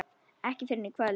Ekki fyrr en í kvöld.